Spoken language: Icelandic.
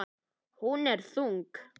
Hún er þung.